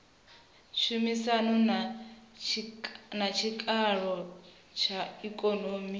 tshumisano na tshikalo tsha ikonomi